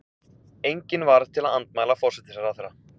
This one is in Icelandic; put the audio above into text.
Engin varð til að andmæla forsætisráðherra.